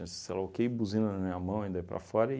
ok, buzina na minha mão e daí para fora